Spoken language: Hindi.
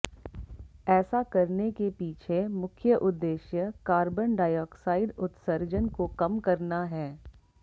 ऐसा करने के पीछे मुख्य उद्देश्य कार्बन डाइऑक्साइड उत्सर्जन को कम करना हैं